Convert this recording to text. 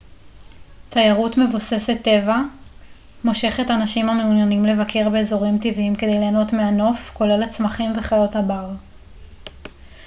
תיירות מבוססת-טבע מושכת אנשים המעוניינים לבקר באזורים טבעיים כדי ליהנות מהנוף כולל הצמחים וחיות הבר